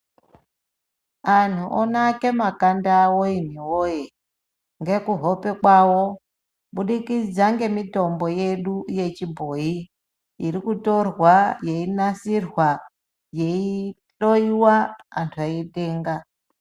Anhu onake makanda awo imwi woye ngekuhope kwawo kubudikidza ngemitombo yedu yechibhoyi iri kutorwa yeinasirwa yeihloyiwa antu eitenga.